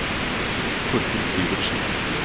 Torfinn Syvertsen